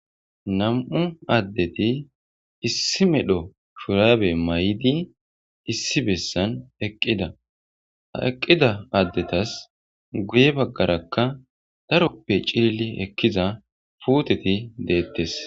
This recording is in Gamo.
Nam7u addeti issi medho shurabe mayIdi issi bessan eqqida. Ha eqqida addetas guye baggarakka daroppe cilli ekkiza puuteti deettes.